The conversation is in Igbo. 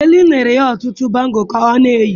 Dele nyere ya ọtụtụ bangụ́lụ ka ọ na-eyi.